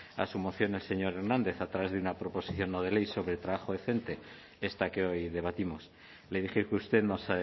la moción del señor hernández a través de una proposición no de ley sobre trabajo decente esta que hoy debatimos le dije que usted nos